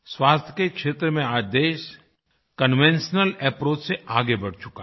स्वास्थ्य के क्षेत्र में आज देश कन्वेंशनल अप्रोच से आगे बढ़ चुका है